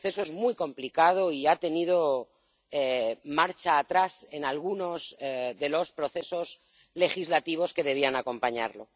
El proceso es muy complicado y ha tenido marcha atrás en algunos de los procesos legislativos que debían acompañarlo.